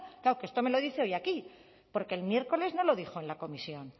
claro que esto me lo dice hoy aquí porque el miércoles no lo dijo en la comisión